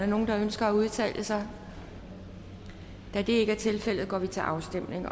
nogen der ønsker at udtale sig da det ikke er tilfældet går vi til afstemning